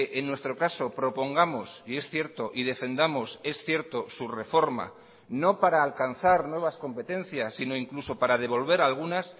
en nuestro caso propongamos y es cierto y defendamos es cierto su reforma no para alcanzar nuevas competencias sino incluso para devolver algunas